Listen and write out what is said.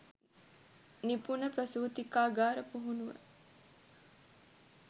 නිපුණ ප්‍රසූතිකාගාර පුහුණුව